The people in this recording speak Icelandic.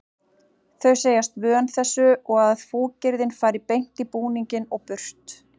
Þau segjast vön þessu og að fúkyrðin fari beint í búninginn og burt.